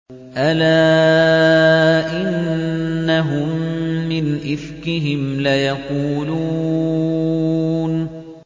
أَلَا إِنَّهُم مِّنْ إِفْكِهِمْ لَيَقُولُونَ